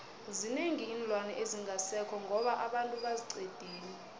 zinengi iinlwana ezingasekho ngoba abantu baziqedile